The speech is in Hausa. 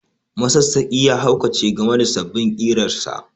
Masassaƙi ya haukace game da sabbin ƙirarsa